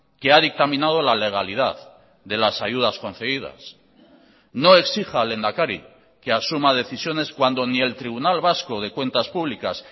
que ha dictaminado la legalidad de las ayudas concedidas no exija al lehendakari que asuma decisiones cuando ni el tribunal vasco de cuentas públicas